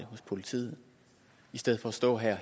hos politiet i stedet for at stå her